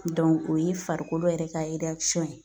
o y'i farikolo yɛrɛ ka ye.